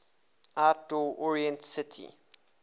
outdoor oriented city